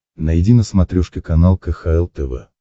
найди на смотрешке канал кхл тв